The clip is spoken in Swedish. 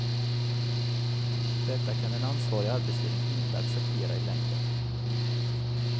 Detta kan en ansvarig arbetsledning inte acceptera i längden.